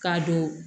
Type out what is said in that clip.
K'a don